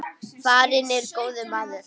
Farinn er góður maður.